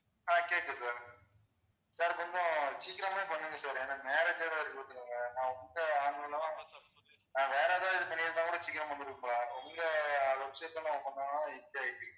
ஆஹ் கேக்குது sir sir கொஞ்சம் சீக்கிரமே பண்ணுங்க sir ஏன்னா marriage உங்க online ல வேற எதுலயும் பண்ணிருந்தாக்கூட சீக்கிரம் வந்துருக்கும் உங்க website ல பண்ணனால இப்படி ஆகிருச்சு